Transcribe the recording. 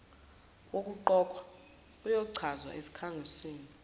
wokuqokwa uyochazwa esikhangisini